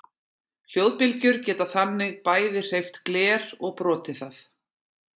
hljóðbylgjur geta þannig bæði hreyft gler og brotið það!